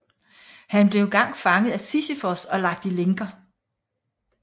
Han blev engang fanget af Sisyfos og lagt i lænker